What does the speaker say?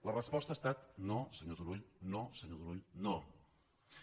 la resposta ha estat no senyor turull no senyor turull no